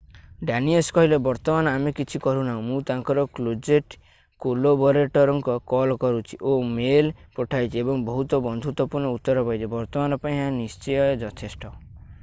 Danius କହିଲେ ବର୍ତ୍ତମାନ ଆମେ କିଛି କରୁନାହୁଁ ମୁଁ ତାଙ୍କର କ୍ଲୋଜେଟ୍ କୋଲାବରେଟରଙ୍କୁ କଲ୍ କରିଛି ଓ ମେଲ୍ ପଠାଇଛି ଏବଂ ବହୁତ ବନ୍ଧୁତ୍ୱପୂର୍ଣ୍ଣ ଉତ୍ତର ପାଇଛି ବର୍ତ୍ତମାନ ପାଇଁ ଏହା ନିଶ୍ଚୟ ଯଥେଷ୍ଟ